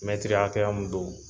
hakɛya mun don